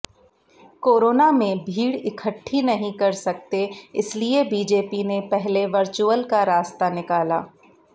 corona में भीड़ इकट्ठी नहीं कर सकते इसलिए बीजेपी ने पहले वर्चुअल का रास्ता निकाला